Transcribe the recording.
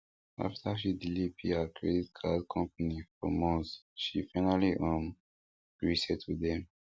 after she delay pay her credit card company for months she finally um gree settle dem